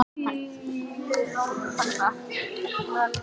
Hann lyfti brúnum furðulostinn:-Nú er það svo?